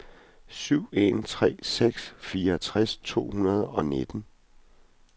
syv en tre seks fireogtres to hundrede og nitten